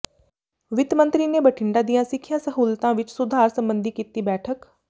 ਵਿੱਤ ਮੰਤਰੀ ਨੇ ਬਠਿੰਡਾ ਦੀਆਂ ਸਿੱਖਿਆ ਸਹੁਲਤਾਂ ਵਿਚ ਸੁਧਾਰ ਸਬੰਧੀ ਕੀਤੀ ਬੈਠਕ